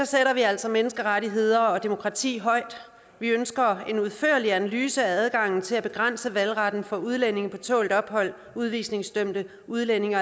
sætter vi altså menneskerettigheder og demokrati højt vi ønsker en udførlig analyse af adgangen til at begrænse valgretten for udlændinge på tålt ophold udvisningsdømte udlændinge